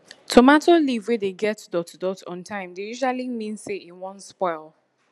tomato leave wey dey get dot dot on time dey usually mean say e wan spoil